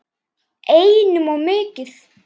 Einum of mikið.